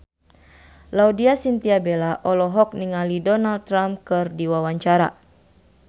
Laudya Chintya Bella olohok ningali Donald Trump keur diwawancara